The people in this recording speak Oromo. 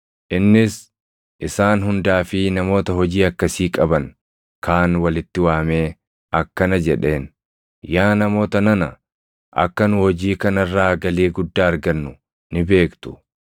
Innis isaan hundaa fi namoota hojii akkasii qaban kaan walitti waamee akkana jedheen; “Yaa namoota nana, akka nu hojii kana irraa galii guddaa argannu ni beektu.